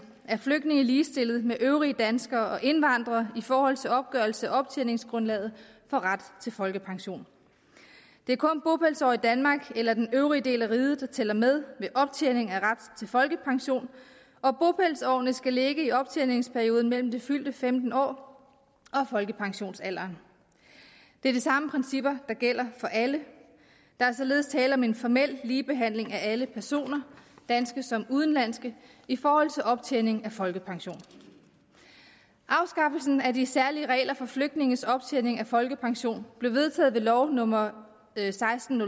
er flygtninge ligestillet med øvrige danskere og indvandrere i forhold til opgørelse af optjeningsgrundlaget for ret til folkepension det er kun bopælsår i danmark eller den øvrige del af riget der tæller med ved optjening af ret til folkepension og bopælsårene skal ligge i optjeningsperioden mellem det fyldte femtende år og folkepensionsalderen det er de samme principper der gælder for alle der er således tale om en formel ligebehandling af alle personer danske som udenlandske i forhold til optjening af folkepension afskaffelsen af de særlige regler for flygtninges optjening af folkepension blev vedtaget ved lov nummer seksten